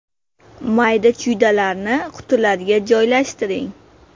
Mayda-chuydalarni qutilarga joylashtiring.